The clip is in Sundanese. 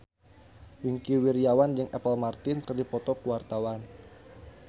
Wingky Wiryawan jeung Apple Martin keur dipoto ku wartawan